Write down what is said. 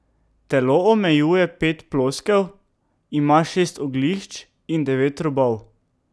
Telo omejuje pet ploskev, ima šest oglišč in devet robov.